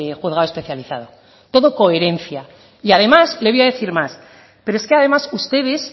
juzgado especializado todo coherencia y además le voy a decir más pero es que además ustedes